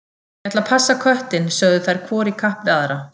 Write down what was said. Ég ætla að passa köttinn, sögðu þær hvor í kapp við aðra.